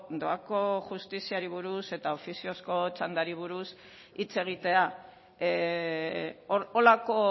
doako justiziari buruz eta ofiziozko txandari buruz hitz egitea holako